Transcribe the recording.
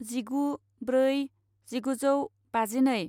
जिगु ब्रै जिगुजौ बाजिनै